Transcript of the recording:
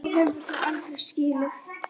Þá hefur þú aldrei skilið.